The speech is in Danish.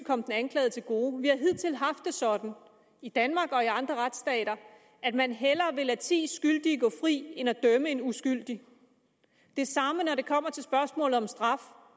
komme den anklagede til gode vi har hidtil haft det sådan i danmark og i andre retsstater at man hellere vil lade ti skyldige gå fri end at dømme en uskyldig det samme gælder når det kommer til spørgsmålet om straf